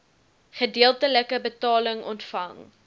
gedeeltelike betaling ontvang